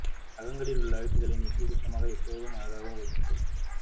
நகங்களில் உள்ள அழுக்குகளை நீக்கி சுத்தமாக எப்போதும் அழகாகவும் வைத்துக் கொள்ள